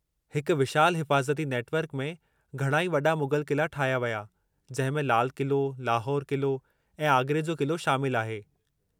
हिकु विशालु हिफ़ाज़ती नेटवर्क में घणई वॾा मुग़ल क़िला ठाहिया विया, जंहिं में लाल क़िलो, लाहौर क़िलो ऐं आगरे जो क़िलो शामिलु आहे।